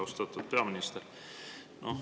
Austatud peaminister!